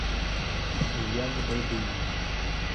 илья габайдулин